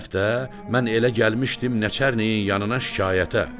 Keçən həftə mən elə gəlmişdim Nəçərniyin yanına şikayətə.